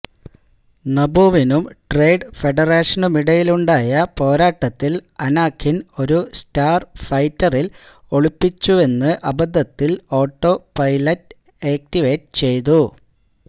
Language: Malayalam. നബൂവിനും ട്രേഡ് ഫെഡറേഷനുമിടയിലുണ്ടായ പോരാട്ടത്തിൽ അനാഖിൻ ഒരു സ്റ്റാർ ഫൈറ്ററിൽ ഒളിപ്പിച്ചുവന്ന് അബദ്ധത്തിൽ ഓട്ടോ പൈലറ്റ് ആക്റ്റിവേറ്റ് ചെയ്തു